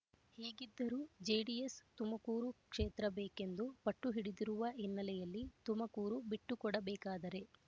ಹೀಗಿದ್ದರೂ ಜೆಡಿಎಸ್ ತುಮಕೂರು ಕ್ಷೇತ್ರ ಬೇಕೆಂದು ಪಟ್ಟುಹಿಡಿದಿರುವ ಹಿನ್ನೆಲೆಯಲ್ಲಿ ತುಮಕೂರು ಬಿಟ್ಟುಕೊಡಬೇಕಾದರೆ